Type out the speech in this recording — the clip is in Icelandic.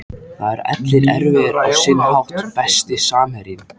Það eru allir erfiðir á sinn hátt Besti samherjinn?